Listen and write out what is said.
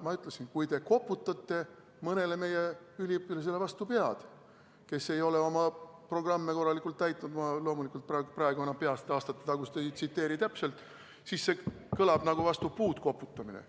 Ma ütlesin, et kui te koputate mõnele meie üliõpilasele vastu pead, kes ei ole oma programme korralikult täitnud – ma loomulikult praegu aastatetagust ütlust ei tsiteeri peast täpselt –, siis see kõlab nagu vastu puud koputamine,